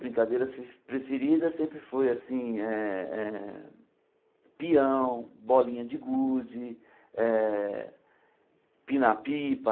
Brincadeiras pe preferidas sempre foi assim eh eh pião, bolinha de gude, eh empinar pipa,